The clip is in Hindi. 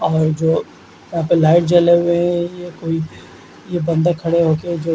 और जो यहाँ पे लाइट जले हुए है ये कोई ये बंदा खड़े होके जो--